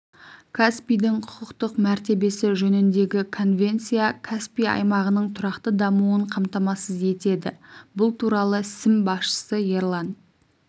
каспийдің құқықтық мәртебесі жөніндегі конвенция каспий аймағының тұрақты дамуын қамтамасыз етеді бұл туралы сім басшысы ерлан